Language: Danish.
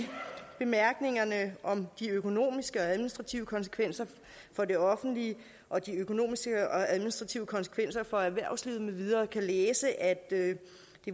bemærkningerne om de økonomiske og administrative konsekvenser for det offentlige og de økonomiske og administrative konsekvenser for erhvervslivet med videre kan man læse at det